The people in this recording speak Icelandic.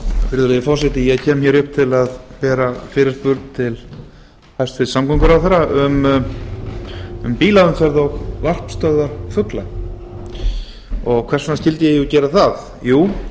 virðulegi forseti ég kem hér upp til að bera fram fyrirspurn til hæstvirts samgönguráðherra um bílaumferð og varpstöðvar fugla hvers vegna skyldi ég gera það jú